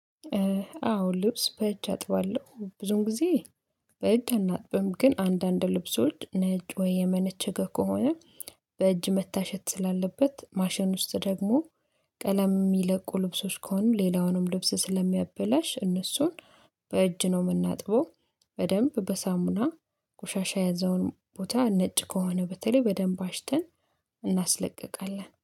አዎ ልብስ በእጅ አጥባለሁ ብዙን ጊዜ። በእጅ አናጥብም ግን አንዳንድ ልብሶች ነጭ ወይ የመነቸከ ከሆነ። በእጅ መታሸት ስላለበት ማሸን ውስጥ ደግሞ ቀለም የሚለቁ ልብሶች ከሆኑ ሌላውንም ልብስ ስለሚያበላሽ እነሱን በእጅ ነው የምናጥበው። በደንብ በሳሙና ቆሻሻ የያዘውን ቦታ ነጭ ከሆነ በተለይ በደንብ አሽተን። እናስለቅቃለን